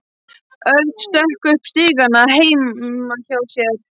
Örn stökk upp stigana heima hjá sér.